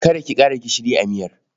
Kada ki ƙara gishiri a miyar.